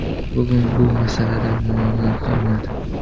Bugun bu masalada muammo qolmadi.